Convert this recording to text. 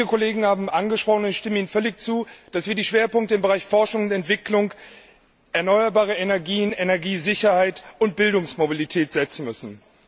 Viele Kollegen haben angesprochen, und ich stimme ihnen völlig zu, dass wir die Schwerpunkte im Bereich Forschung und Entwicklung, erneuerbare Energien, Energiesicherheit und Bildungsmobilität setzen müssen.